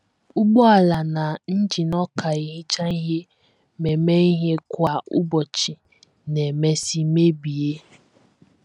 Ụgbọala na injin ọka ehicha ihe ma eme ihe kwa ụbọchị na - emesị mebie.